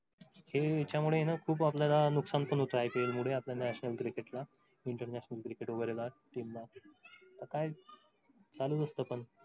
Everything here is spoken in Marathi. हे हेच्या मुले खूप नुकसान पण होत. ipl मुळे आपल्या national cricket ला international cricket वगैरेला team ला काय चालूच असं पण